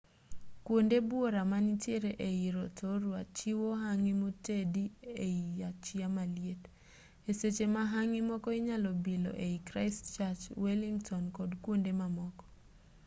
kwonde buora manitiere ei rotorua chiwo hangi motedi ei achiya maliet e seche ma hangi moko inyalo bilo ei christchurch wellington kod kwonde mamoko